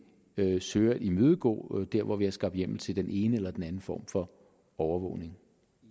søger at imødegå der hvor vi har skabt hjemmel til den ene eller den anden form for overvågning